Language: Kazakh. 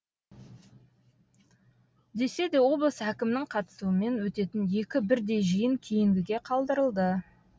десе де облыс әкімінің қатысуымен өтетін екі бірдей жиын кейінгіге қалдырылды